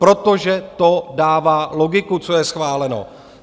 Protože to dává logiku, co je schváleno.